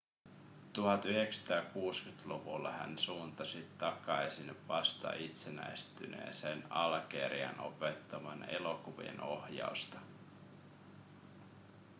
1960-luvulla hän suuntasi takaisin vasta itsenäistyneeseen algeriaan opettamaan elokuvien ohjausta